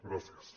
gràcies